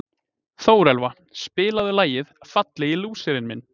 Þórelfa, spilaðu lagið „Fallegi lúserinn minn“.